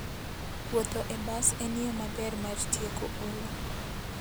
Wuotho e bas en yo maber mar tieko olo.